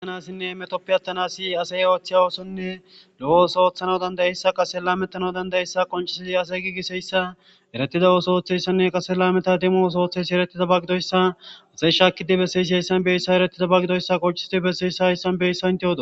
aanassinne metopi attanasi asey ooththey oosonne lo7os ooththano dandayeyssa qase la mettano dandayeyssa qoncisizi ase giigisheyssa eretida ooso ooththeyssanne qase lameta demo oso ooththeysi erettiza bagidoyssa asey shaakidi besseysi hayssan beyssa erettiza bagidoyssa qoncisidi besseyssa hayssan beyssa inte hodo